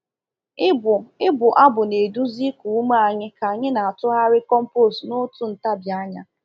Ịbụ Ịbụ abụ na-eduzi iku ume anyị ka anyị na-atụgharị compost n'otu ntabi anya.